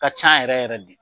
A Ka ca yɛrɛ yɛrɛ de.